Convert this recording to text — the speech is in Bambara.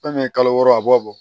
Fɛn min ye kalo wɔɔrɔ a b'a bɔ